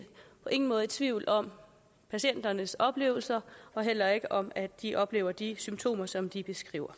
på ingen måde er i tvivl om patienternes oplevelser og heller ikke om at de oplever de symptomer som de beskriver